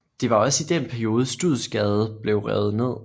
Det var også i den periode Studsgade blev revet ned